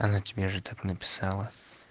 она тебе же так написала